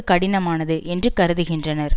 கடினமானது என்று கருதுகின்றனர்